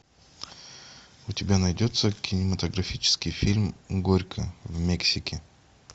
у тебя найдется кинематографический фильм горько в мексике